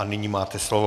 A nyní máte slovo.